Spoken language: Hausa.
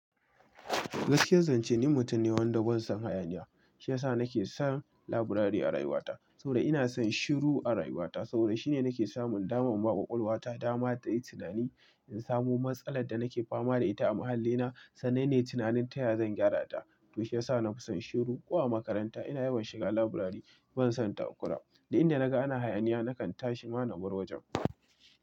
Gaskiyar zance ni mutum ne wanda ban son hayaniya. Shi ya sa nake son laburare a rayuwata. Sau da ina son shiru a rayuwata. Sau da shine nake samun daman baƙwaƙwal wa ta dama ta yi tunani. In samu matsalar da nake fama da ita a mahallina, sannane tunanin taya zan gyara ta. Don shi ya sa na fi son shiru. Ko a makaranta ina yawan shiga laburare ban son takura. Da inda naga ana hayaniya nakan tashi ma na bar wajen.